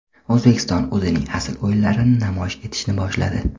O‘zbekiston o‘zining asl o‘yinlarini namoyish etishni boshladi.